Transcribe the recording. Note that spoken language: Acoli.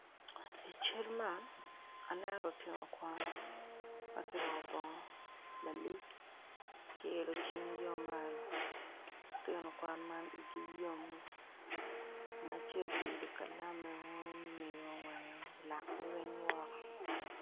i cal man aneno lutino kwan ma guruko bongo malik guilo cingio malo lutino kwan ma igi yom ngat acel oilo kalame malo lakgi weng woko.